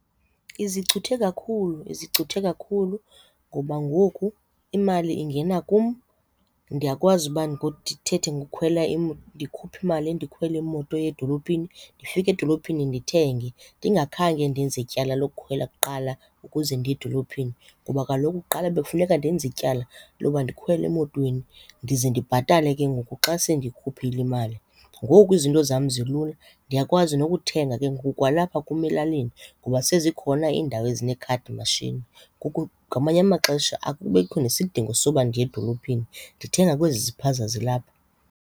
Izicuthe kakhulu, izicuthe kakhulu ngoba ngoku imali ingena kum, ndiyakwazi uba ndithethe ngokukhwela ndikhuphe imali ndikhwele imoto eya edolophini ndifike edolophini ndithenge ndingakhange ndenze ityala lokukhwela kuqala ukuze ndiye edolophini. Ngoba kaloku kuqala bekufuneka ndenze ityala loba ndikhwele emotweni ndize ndibhatale ke ngoku xa sendikhuphile imali. Ngoku izinto zam zilula ndiyakwazi nokuthenga ke ngoku kwalapha kum elalini ngoba sezikhona iindawo ezinee-card machine. Ngamanye amaxesha akubikho nesidingo soba ndiya edolophini ndithenga kwezi ziphaza zilapha.